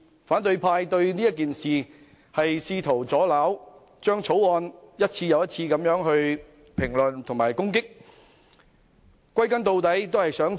反對派試圖阻撓此事，一次又一次評論和攻擊《條例草案》。